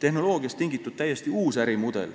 Tehnoloogiast tingitud täiesti uus ärimudel